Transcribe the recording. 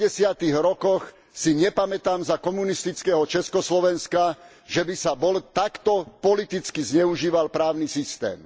80. rokoch si nepamätám za komunistického Československa, že by sa bol takto politicky zneužíval právny systém.